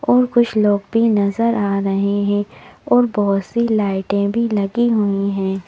और कुछ लोग भी नजर आ रहे हैं और बहुत सी लाइटें भी लगी हुई हैं।